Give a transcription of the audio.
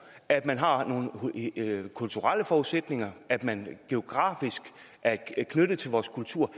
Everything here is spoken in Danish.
at man har nogle kulturelle forudsætninger at man geografisk er knyttet til vores kultur